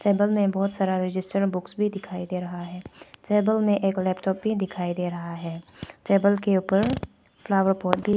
table में बहुत सारा रजिस्टर बुक्स भी दिखाई दे रहा है टेबल में एक लैपटॉप भी दिखाई दे रहा है टेबल के ऊपर फ्लावर पॉट भी--